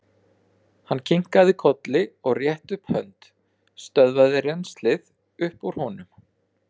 Hann kinkaði kolli og rétti upp hönd, stöðvaði rennslið upp úr honum.